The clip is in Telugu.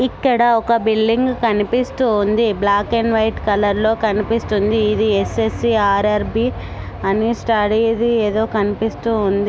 ఇక్కడ ఒక బిల్డింగ్ కనిపిస్తూ ఉంది బ్లాక్ అండ్ వైట్ కలర్ లో కనిపిస్తుంది ఇది ఎస్_ఎస్_సి_ఆర్_ఆర్_బి అని స్టడీ ది ఏదో కనిపిస్తూ ఉంది.